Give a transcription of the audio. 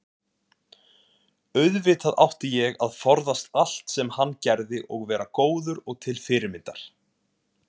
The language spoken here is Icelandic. auðvitað átti ég að forðast allt sem hann gerði og vera góður og til fyrirmyndar.